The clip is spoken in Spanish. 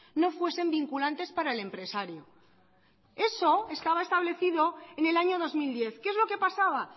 no fuesen vinculantes para el empresario eso estaba establecido en el año dos mil diez qué es lo que pasaba